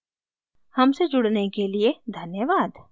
हमसे जुड़ने के लिए धन्यवाद